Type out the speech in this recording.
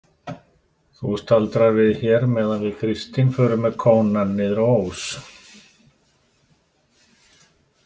Þú staldrar við hér meðan við Kristín förum með kónann niður á Ós.